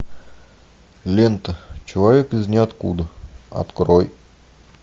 лента человек из ниоткуда открой